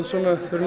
fyrr en